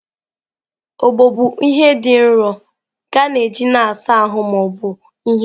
Ogbọ bụ ihe dị nro nke a na-eji na-asa ahụ ma ọ bụ ihe.